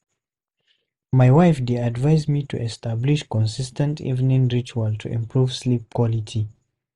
My wife dey advise me to establish consis ten t evening ritual to improve sleep quality.